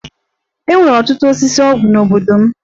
E nwere ọtụtụ osisi ọgwụ n'obodo m.